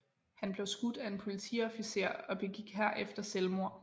Han blev skudt af en politiofficer og begik herefter selvmord